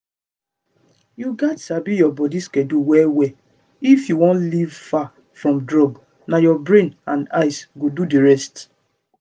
you gats sabi your body schedule well well if you wan leave far from drugs na your brain and eyes go do the rest